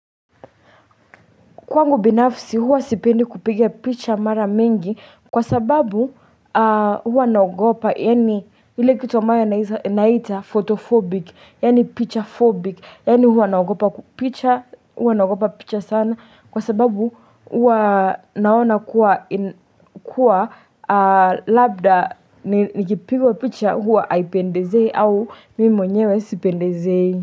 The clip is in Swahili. Kwangu binafsi huwa sipendi kupiga picha mara mingi kwa sababu huwa naogopa yaani ile kitu ambayo naita photophobic yaani picha phobic yaani huwa naogopa picha sana kwa sababu huwa naona kuwa labda nikipigwa picha huwa haipendezei au mimo mwenyewe sipendezei.